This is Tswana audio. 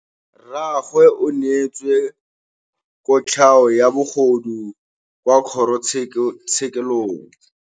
Rragwe o neetswe kotlhaô ya bogodu kwa kgoro tshêkêlông.